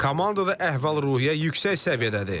Komandada əhval-ruhiyyə yüksək səviyyədədir.